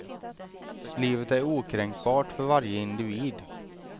Livet är okränkbart, för varje individ.